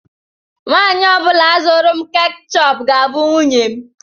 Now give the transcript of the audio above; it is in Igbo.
Nwanyị ọ bụla zụrụ m keechup ga-abụ nwunye m.